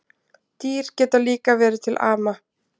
Dýr geta líka verið til ama